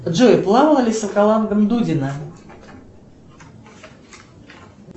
джой плавала ли с аквалангом дудина